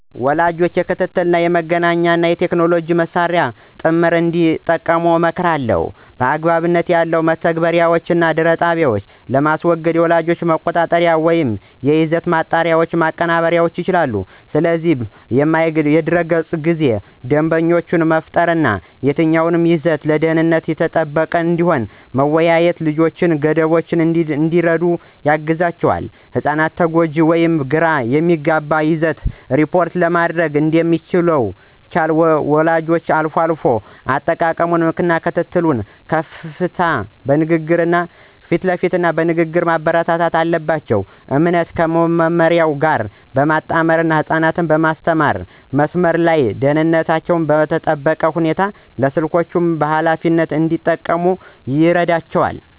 ወላጆች የክትትል፣ የመገናኛ እና የቴክኖሎጂ መሳሪያዎችን ጥምር እንዲጠቀሙ እመክራለሁ። አግባብ ያልሆኑ መተግበሪያዎችን እና ድር ጣቢያዎችን ለማገድ የወላጅ መቆጣጠሪያዎችን ወይም የይዘት ማጣሪያዎችን ማቀናበር ይችላሉ። ስለ ማያ ገጽ ጊዜ ደንቦችን መፍጠር እና የትኛው ይዘት ደህንነቱ የተጠበቀ እንደሆነ መወያየት ልጆች ገደቦችን እንዲረዱ ያግዛቸዋል። ህጻናት ጎጂ ወይም ግራ የሚያጋባ ይዘትን ሪፖርት ለማድረግ እንዲመቻቸው ወላጆች አልፎ አልፎ አጠቃቀሙን መከታተል እና ክፍት ንግግሮችን ማበረታታት አለባቸው። እምነትን ከመመሪያ ጋር ማመጣጠን ህጻናት በመስመር ላይ ደህንነታቸው በተጠበቀ ሁኔታ ስልኮችን በኃላፊነት እንዲጠቀሙ ይረዳል።